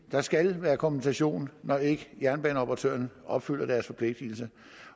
der skal være kompensation når jernbaneoperatørerne opfylder deres forpligtelser